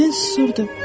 Mən susurdum.